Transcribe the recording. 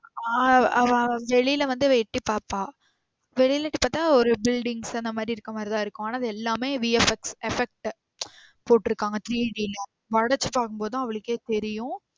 ஆஹ்ன் அவ வெளில வந்து அவ எட்டி பாப்பா. வெளில இருந்து பாத்தா ஒரு buildings அந்த மாறி இருக்குறமாறி தான் இருக்கும் எல்லாமே VFX effect போற்றுகாங்க